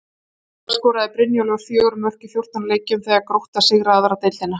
Í fyrra skoraði Brynjólfur fjögur mörk í fjórtán leikjum þegar að Grótta sigraði aðra deildina.